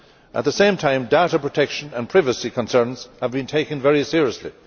At the same time, data protection and privacy concerns have been taken very seriously.